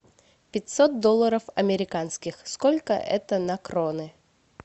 пятьсот долларов американских сколько это на кроны